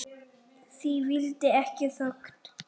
Því fylgdi ekki þögn.